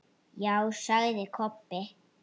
Já, sagði Kobbi.